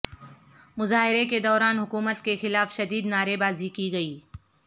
مظاہرے کے دوران حکومت کے خلاف شدید نعرے بازی کی گئی